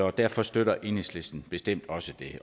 og derfor støtter enhedslisten bestemt også det